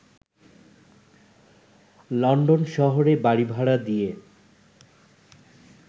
London শহরে বাড়িভাড়া দিয়ে